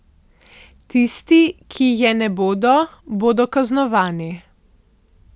Tisti, ki je ne bodo, bodo kaznovani.